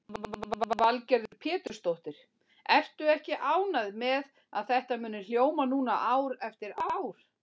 Lillý Valgerður Pétursdóttir: Ertu ekki ánægð með að þetta muni hljóma núna ár eftir ár?